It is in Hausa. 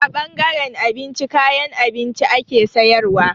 A ɓangaren abinci, kayan abinci ake sayarwa.